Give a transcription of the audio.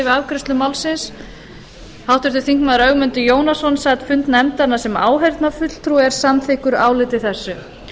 afgreiðslu málsins háttvirtur þingmaður ögmundur jónasson sat fund nefndarinnar sem áheyrnarfulltrúi og er samþykkur áliti þessu